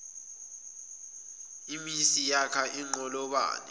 imhsi yakha inqolobane